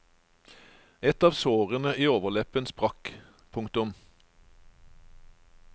Et av sårene i overleppen sprakk. punktum